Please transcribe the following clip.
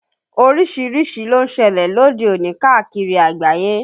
Orísìírísìí ló ń ṣẹlẹ̀ lóde òní káàkiri àgbáyé